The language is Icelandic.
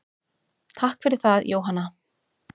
Takk fyrir það Jóhanna.